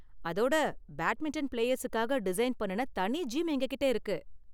அதோட பேட்மிண்டன் பிளேயர்ஸுக்காக டிசைன் பண்ணுன தனி ஜிம் எங்ககிட்ட இருக்கு.